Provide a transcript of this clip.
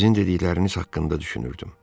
Sizin dedikləriniz haqqında düşünürdüm.